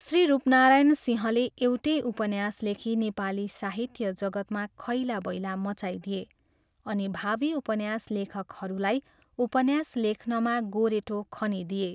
श्री रूपनारायण सिंहले एउटै उपन्यास लेखी नेपाली साहित्य जगत्मा खैलाबैला मचाइदिए अनि भावी उपन्यास लेखकहरूलाई उपन्यास लेख्नमा गोरेटो खनिदिए।